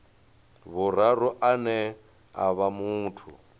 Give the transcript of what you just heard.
vhuraru ane a vha muthu